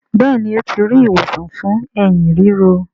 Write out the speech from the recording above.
Béèni o ti ri ìwòsàn fún Ẹ̀hín ríro.